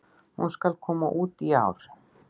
Hún SKAL koma út í ár!